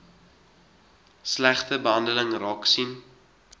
slegte behandeling raaksien